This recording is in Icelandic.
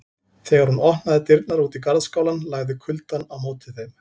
Þegar hún opnaði dyrnar út í garðskálann lagði kuldann á móti þeim.